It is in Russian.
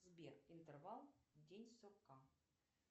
сбер интервал день сурка